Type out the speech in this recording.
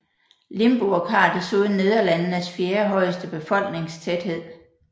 Limburg har desuden Nederlandenes fjerde højeste befolkningstæthed